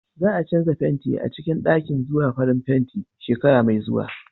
Za a canza fenti a cikin ɗakin zuwa farin kafin shekara mai zuwa.